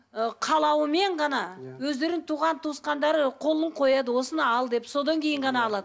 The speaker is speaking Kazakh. ы қалауымен ғана өздерінің туған туысқандары қолын қояды осыны ал деп содан кейін ғана алады